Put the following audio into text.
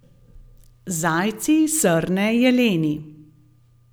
Zajci, srne, jeleni.